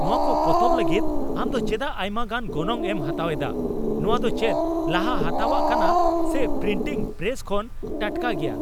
ᱱᱚᱶᱟ ᱠᱚ ᱯᱚᱛᱚᱵ ᱞᱟᱹᱜᱤᱫ ᱟᱢ ᱫᱚ ᱪᱮᱫᱟᱜ ᱟᱭᱢᱟᱜᱟᱱ ᱜᱚᱱᱚᱝ ᱮᱢ ᱦᱟᱛᱟᱣ ᱮᱫᱟ ? ᱱᱚᱶᱟ ᱫᱚ ᱪᱮᱫ ᱞᱟᱦᱟ ᱦᱟᱛᱟᱣᱟᱜ ᱠᱟᱱᱟ ᱥᱮ ᱯᱨᱤᱱᱴᱤᱝ ᱯᱨᱮᱥ ᱠᱷᱚᱱ ᱴᱟᱴᱠᱟ ᱜᱮᱭᱟ ?